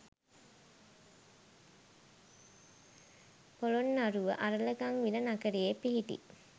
පොළොන්නරුව අරලගංවිල නගරයේ පිහිටි